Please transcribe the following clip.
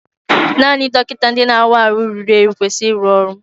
Naanị ndị dọkịta na-awa ahụ ruru eru kwesịrị ịrụ ọrụ.